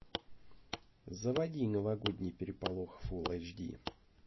заводи новогодний переполох фул эйч ди